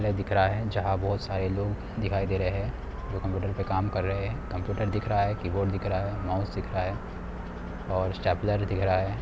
यह दिख रहा है जहां बहुत सारे लोग दिखाई दे रहे हैं जो की कंप्यूटर पे काम कर रहे है| कंप्यूटर दिख रहा है कीबोर्ड दिख रहा है माउस दिख रहा है और स्टेपलर दिख रहा है।